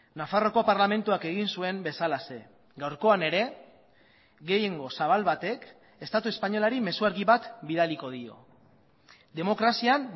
nafarroako parlamentuak egin zuen bezalaxe gaurkoan ere gehiengo zabal batek estatu espainolari mezu argi bat bidaliko dio demokrazian